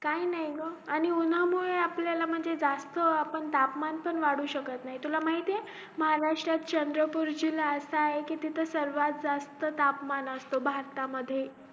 काही नाही आणि उंन्हा मुळे आपल्याला म्हणजे जास्त तापमान पण वाढू शकत नाही तुला माहितीए महारातराष्टात चंद्रपूर जिल्हा असा आहे तिथे सर्वात जास्त तापमान असतो भारतामध्ये